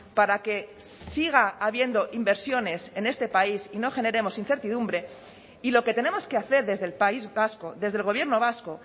para que siga habiendo inversiones en este país y no generemos incertidumbre y lo que tenemos que hacer desde el país vasco desde el gobierno vasco